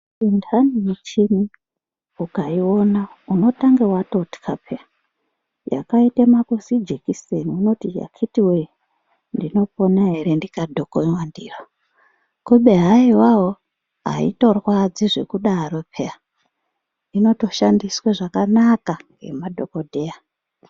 Muntani michini ukayiwona ,unotanga watotya phera ,yakaite mazijekiseni unoti yakiti wee! ndinopona here ndikadhokonywa ndiyo. Kubehayiwawo hayitorwadzi zvekudaro phera inotoshandiswe zvakanaka nemadhokodheya.